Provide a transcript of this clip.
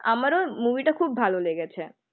আমারও মুভিটা খুব ভালো লেগেছে.